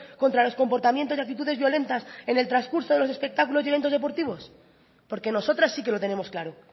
contra los comportamientos y actitudes violentas en el transcurso de los espectáculos y eventos deportivos porque nosotras sí que lo tenemos claro